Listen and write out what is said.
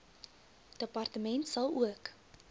departement sal ook